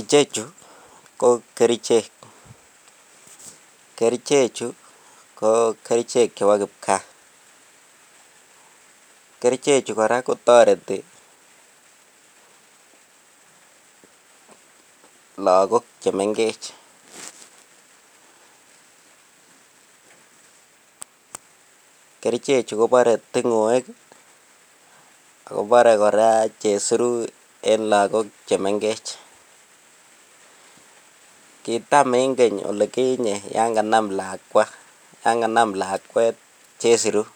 Ichechu ko kerichek kerichechu ko kerichek chebo kipkaa, kerichechu koraa kotoreti logok chemegech kerichechu kobore tingoek Ako Boree koraa chesiruu en logok chemegech kitam en keny olikinye yan kanam lakwa yan kanam lakwet chesiruu